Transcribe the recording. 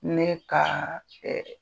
Ne kaa